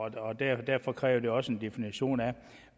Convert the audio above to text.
af derfor derfor kræver det også en definition af